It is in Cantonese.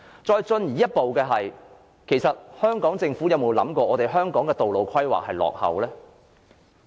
再進一步的是，香港政府有沒有想過，香港的道路規劃是很落伍的呢？